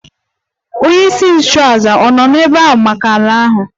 Onyeisi nchụàjà ọ̀ nọ n'ebe ahụ maka ala ahụ?